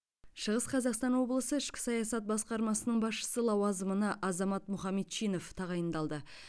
шығыс қазақстан облысы ішкі саясат басқармасының басшысы лауазымына азамат мұхамедчинов тағайындалды